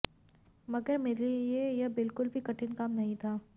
मगर मेरे लिए ये बिल्कुल भी कठिन काम नहीं था